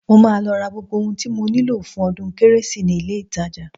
Mo máa lọ ra gbogbo ohun tí mo nílò fún ọdún kérésì ni ilé-ìtajà